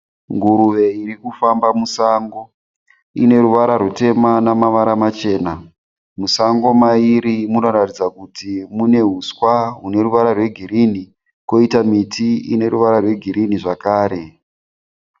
Nguruve iri kufamba musango. Ine ruvara rutema namavara machena. Musango mairi munoratidza kuti mune uswa hune ruvara rwegirini kwoita miti ine ruvara rwegirini zvakare.